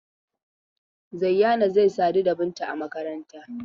Zayyana zai sadu da Binta a makaranta.